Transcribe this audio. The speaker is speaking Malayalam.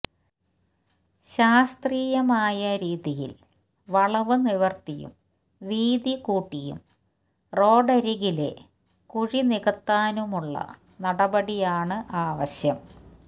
ശാസ്ത്രീയമായ രീതിയില് വളവ് നിവര്ത്തിയും വീതികൂട്ടിയും റോഡരികിലെ കുഴിനികത്താനുമുള്ള നടപടിയാണ് ആവശ്യം